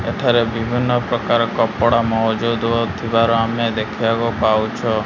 ଏଠାରେ ବିଭିନ୍ନ ପ୍ରକାର କପଡା ମହଜୁଦୁ ଥିବାର ଆମେ ଦେଖିବାକୁ ପାଉଛୁ।